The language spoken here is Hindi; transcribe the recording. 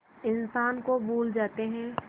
इंसान को भूल जाते हैं